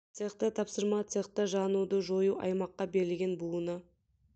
цехта тапсырма цехта жануды жою аймаққа берілген буыны